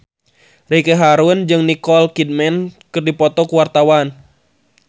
Ricky Harun jeung Nicole Kidman keur dipoto ku wartawan